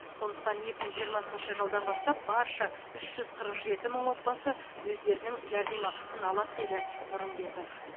сондықтан екі мың жиырмасыншы жылдан бастап барша үш жүз қырық жеті мың отбасы өздерінің жәрдемақысын алады деді нұрымбетов